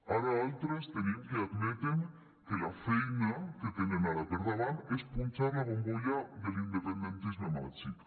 ara altres tenim que admeten que la feina que tenen ara per davant és punxar la bombolla de l’independentisme màgic